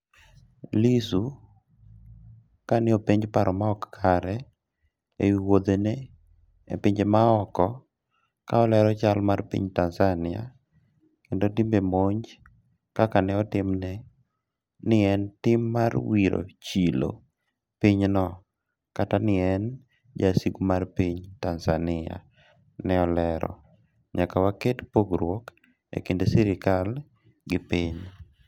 Lissu ka ne openj paro maok kare e wi wouthe ne e pinje ma oko ka olero chal mar piny Tanzania kendo timbe monj kaka ne otimne ni en tim mar wiro chilo piny no kata ni en jasigu mar piny Tanzania, ne olero: " nyaka waket pogruok e kind sirikal gi piny"